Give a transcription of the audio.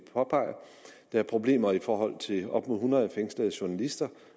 der er problemer i forhold til op mod hundrede fængslede journalister